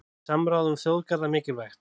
Samráð um þjóðgarða mikilvægt